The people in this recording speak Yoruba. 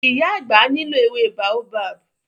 Ìyá àgbà nílò ewé Baobab.